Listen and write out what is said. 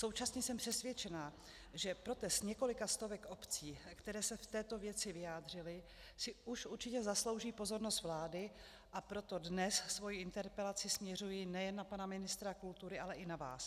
Současně jsem přesvědčena, že protest několika stovek obcí, které se v této věci vyjádřily, si už určitě zaslouží pozornost vlády, a proto dnes svoji interpelaci směřuji nejen na pana ministra kultury, ale i na vás.